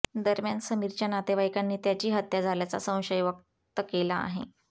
दरम्यान समीरच्या नातेवाईकांनी त्याची हत्या झाल्याचा संशय वक्त केला आहे